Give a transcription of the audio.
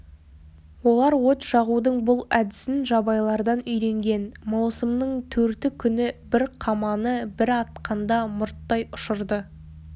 олар от жағудың бұл әдісін жабайылардан үйренген маусымның төрті күні бір қаманы бір атқанда мұрттай ұшырды